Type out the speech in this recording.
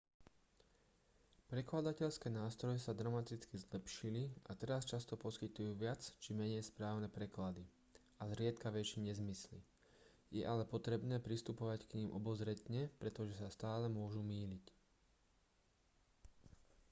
prekladateľské nástroje sa dramaticky zlepšili a teraz často poskytujú viac či menej správne preklady a zriedkavejšie nezmysly je ale potrebné pristupovať k nim obozretne pretože sa stále môžu mýliť